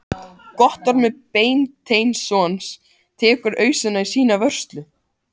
Guttormur Beinteinsson tekur ausuna í sína vörslu.